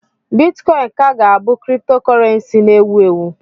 Bitcọịn ka ga-abụ criptocọrensii na ewu ewu.